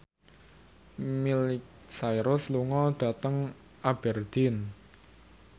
Miley Cyrus lunga dhateng Aberdeen